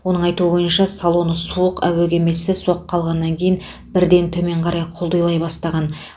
оның айтуы бойынша салоны суық әуе кемесі соққы алғаннан кейін бірден төмен қарай құлдилай бастаған